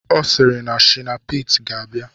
Ọ sịrị na shina pete ga-abịa